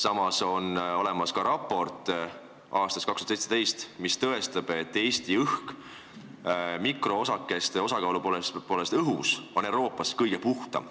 Samas on olemas ka raport aastast 2017, mis tõestab, et Eesti õhk on mikroosakeste osakaalu poolest Euroopas kõige puhtam.